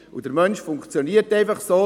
Der Mensch funktioniert einfach so.